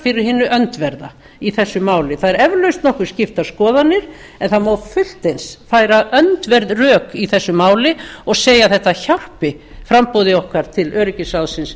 fyrir hinu öndverð í þessu máli það eru eflaust nokkuð skiptar skoðanir en það má fullt eins færa öndverð rök í þessu máli og segja að þetta hjálpi framboði okkar til öryggisráðsins